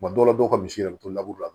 dɔw la dɔw ka misi yɛrɛ be to la